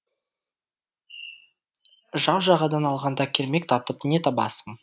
жау жағадан алғанда кермек татып не табасың